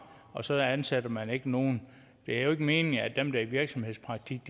og så ansætter man ikke nogen det er jo ikke meningen at dem der er i virksomhedspraktik